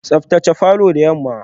Tsaftace falor da yamma.